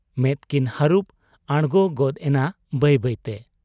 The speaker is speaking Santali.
ᱢᱮᱫ ᱠᱤᱱ ᱦᱟᱹᱨᱩᱵ ᱟᱬᱜᱚ ᱜᱚᱫ ᱮᱱᱟ ᱵᱟᱹᱭ ᱵᱟᱹᱭᱛᱮ ᱾